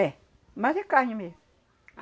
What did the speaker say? É. Mais é carne mesmo.